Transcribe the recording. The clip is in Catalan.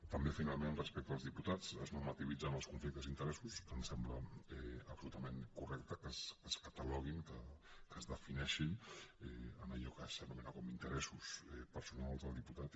també finalment respecte als diputats es normativitzen els conflictes d’interessos que ens sembla absolutament correcte que es cataloguin que es defineixin amb allò que s’anomena com a interessos personals del diputat